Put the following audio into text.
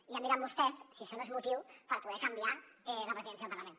ja em diran vostès si això no és motiu per poder canviar la presidència del parlament